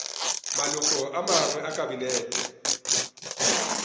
maloko a mangwe a kabinete